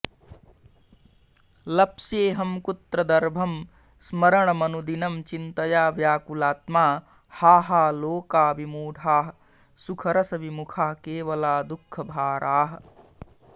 लप्स्येऽहं कुत्र दर्भं स्मरणमनुदिनं चिन्तया व्याकुलात्मा हा हा लोका विमूढाः सुखरसविमुखाः केवला दुःखभाराः